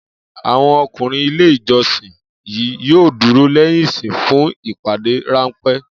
Àwo̩n o̩kùnrin ilé ìjo̩sìn yìí yóò dúró lé̩yìn ìsìn fún ìpàdé ránpé̩